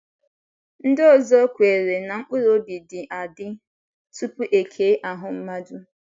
Ndị ọzọ kweere na mkpụrụ obi dị adị, tupu e kee ahụ́ mmadụ.